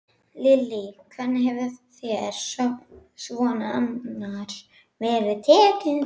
Lillý: Hvernig hefur þér svona annars verið tekið?